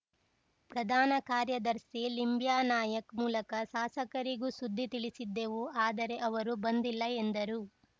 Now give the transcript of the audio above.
ಪ್ರಧಾನ ಕಾರ್ಯದರ್ಶಿ ಲಿಂಬ್ಯಾನಾಯ್ಕ ಮೂಲಕ ಶಾಸಕರಿಗೂ ಸುದ್ದಿ ತಿಳಿಸಿದ್ದೆವು ಆದರೆ ಅವರೂ ಬಂದಿಲ್ಲ ಎಂದರು